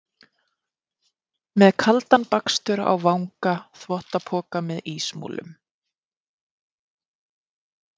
Með kaldan bakstur á vanga, þvottapoka með ísmolum.